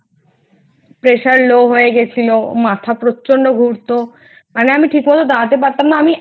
Pressure low হয়ে গেছিলো মাথা প্রচন্ড ঘুরতো মানে আমি ঠিক মতো দাঁড়াতে পারতাম না।